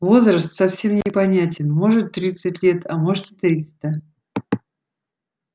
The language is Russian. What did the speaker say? возраст совсем непонятен может тридцать лет а может и триста